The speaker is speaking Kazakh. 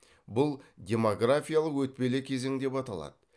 бұл демографиялық өтпелі кезең деп аталады